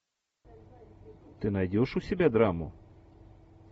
ты найдешь у себя драму